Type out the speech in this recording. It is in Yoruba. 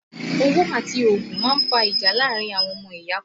Owó àti ogún máa ń fa ìjà láàárín àwọn ọmọ ìyá kan